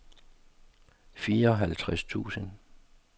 fireoghalvtreds tusind